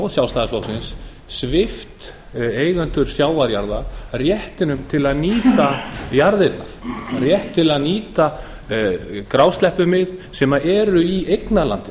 og sjálfstæðisflokksins svipt eigendur sjávarjarða réttinum til að nýta jarðirnar rétti til að nýta grásleppumið sem eru í eignarlandinu